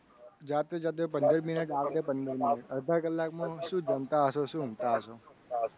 જાતે જાતે પંદર minute આવતે પંદર minute અડધા કલાક માં સુ જમતા હસો? સુ ઊંઘતા હસો?